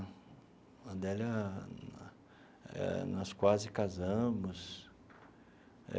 A Adélia eh, nós quase casamos.